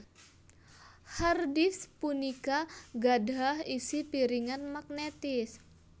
Hard disk punika gadhah isi piringan magnetis